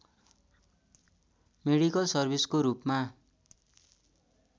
medical सर्भिसको रूपमा